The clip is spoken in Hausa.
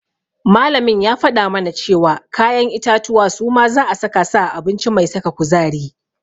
Malamin ya faɗa mana cewa kayan itatuwa suma za'a saka su a abinci mai saka kuzari.